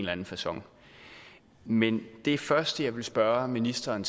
anden facon men det første jeg vil spørge ministeren